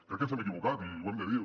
crec que ens hem equivocat i ho hem de dir